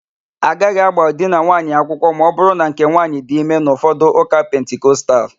Agaghị agba di na nwunye akwụkwọ ma ọbụrụ na nke nwaanyị dị ime n'ụfọdụ ụka pentikostal.